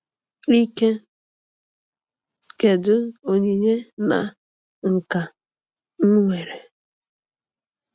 Ike: kedu onyinye na nka m nwere?